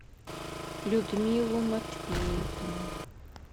людмилу матвеевну